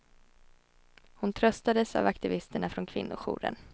Hon tröstades av aktivisterna från kvinnojouren.